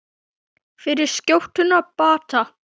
Fyrir skjótum bata.